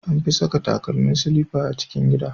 An fi saka takalmi silifa a cikin gida.